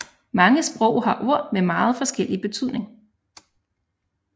Mange sprog har ord med meget forskellig betydning